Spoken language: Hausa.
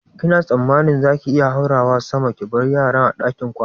Kina tsammanin za ki iya haurawa sama ki bar yaran a ɗakin kwana?